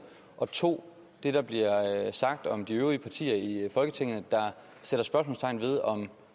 og 2 det der bliver sagt om de øvrige partier i folketinget der sætter spørgsmålstegn ved om